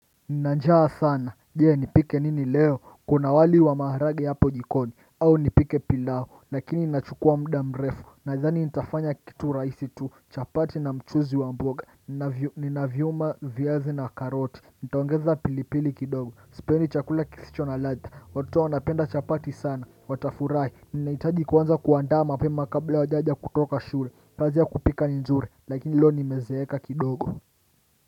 Nina njaa sana je nipike nini leo kuna wali wa maharage hapo jikoni au nipike pilao lakini nina chukua mda mrefu nadhani nitafanya kitu raisi tu chapati na mchuzi wa mboga nina nyanya viazi na karoti nitaongeza pilipili kidogo sipendi chakula kisicho na latha watoto wanapenda chapati sana watafurai ninaitaji kuanza kuandaa mapema kabla hawajaja kutoka shule kaziya kupika ninzuri lakini leo nimezeeka kidogo.